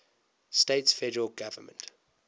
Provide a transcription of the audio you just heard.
states federal government